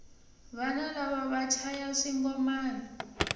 vana lava va chaya swingomani